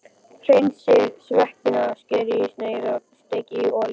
Hreinsið sveppina, skerið í sneiðar og steikið í olíu.